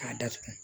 K'a datugu